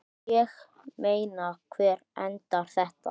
Ég meina, hvar endar þetta?